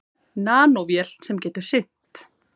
Nanóvél sem getur synt.